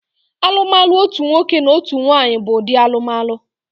Alụmalụ otu nwoke na otu nwaanyị bụ ụdị alụmalụ